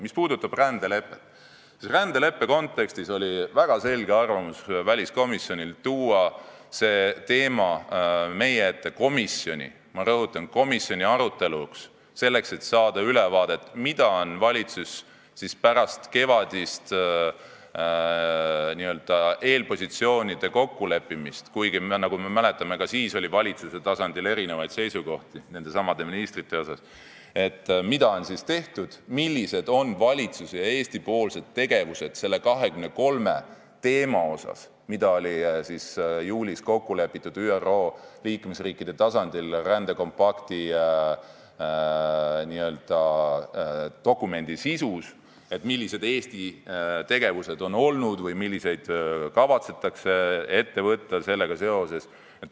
Mis puudutab rändelepet, siis selles kontekstis oli väliskomisjonil väga selge arvamus: see teema tuleb tuua meie ette komisjoni, ma rõhutan, komisjoni aruteluks, selleks et saada ülevaadet, mida on valitsus pärast kevadist n-ö eelpositsioonide kokkuleppimist teinud , millised on valitsuse ja Eesti tegevused nende 23 teemaga, mis juulis kokku lepiti ÜRO liikmesriikide tasandil rändedokumendi sisus, millised on olnud Eesti tegevused või mida kavatsetakse ette võtta selle teemaga seoses.